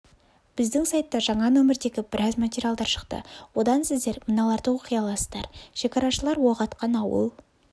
біздің сайтта жаңа нөмірдегі біраз материалдар шықты одан сіздер мыналарды оқи аласыздар шекарашылар оқ атқан ауыл